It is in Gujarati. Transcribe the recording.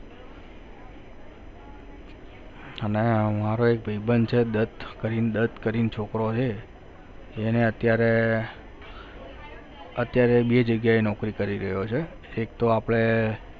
અને આ મારો એક ભાઈબંધ છે દત્ત કરીને દત્ત કરીને છોકરો છે એને અત્યારે અત્યારે બે જગ્યાએ નોકરી કરી રહ્યો છે એક તો આપણે